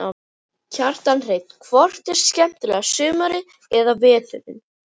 Kjartan Hreinn: Hvort er skemmtilegra sumarið eða veturinn?